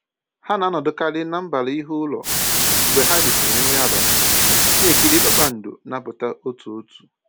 Ha na-anọdụkarị na mbara ihu ụlọ mgbe ha risịrị nri abalị, na-ekiri kpakpando na-apụta otu otu